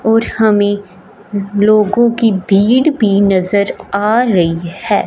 और हमें लोगों की भीड़ भी नजर आ रही है।